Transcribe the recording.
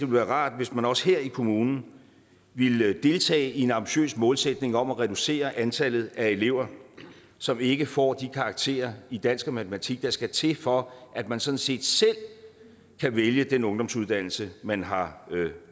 være rart hvis man også her i kommunen ville deltage i en ambitiøs målsætning om at reducere antallet af elever som ikke får de karakterer i dansk og matematik der skal til for at man sådan set selv kan vælge den ungdomsuddannelse man har